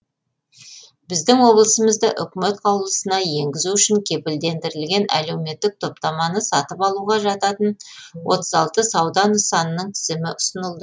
біздің облысымызда үкімет қаулысына енгізу үшін кепілдендірілген әлеуметтік топтаманы сатып алуға жататын отыз алты сауда нысанының тізімі ұсынылды